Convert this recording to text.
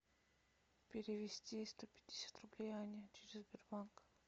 перевести сто пятьдесят рублей ане через сбербанк